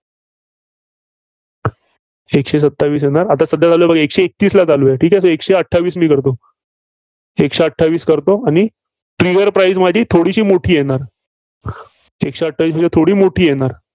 एकशे सत्तावीस येणार. सध्या चालू आहे बघा एकशे एकतीसला चालू आहे. ठीक आहे. तर एकशे अठ्ठावीस मी करतो. एकशे अठ्ठावीस करतो आणि trigger price माझी थोडीशी मोठी येणार. एकशे अठ्ठावीसपेक्षा थोडी मोठी येणार.